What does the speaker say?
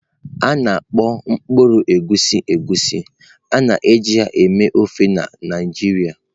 A na-akpọ mkpụrụ egusi Egusi, a na-eji ya eme ofe na Naijiria.